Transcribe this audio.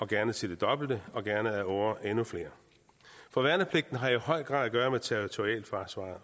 gerne til det dobbelte og gerne ad åre til endnu flere for værnepligten har i høj grad at gøre med territorialforsvaret